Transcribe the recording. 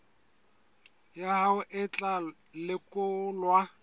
ya hao e tla lekolwa